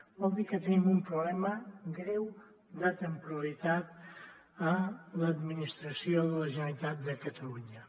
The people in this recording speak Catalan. vol dir que tenim un problema greu de temporalitat a l’administració de la generalitat de catalunya